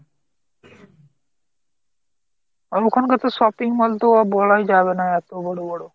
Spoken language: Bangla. আর ওখানকার তো shopping mall তো বলাই যাবে না এতো বড় বড়।